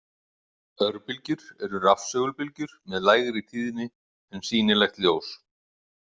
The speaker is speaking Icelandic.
Örbylgjur eru rafsegulbylgjur með lægri tíðni en sýnilegt ljós.